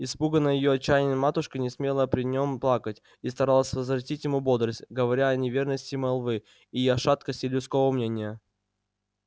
испуганная её отчаянием матушка не смела при нем плакать и старалась возвратить ему бодрость говоря о неверности молвы и о шаткости людского мнения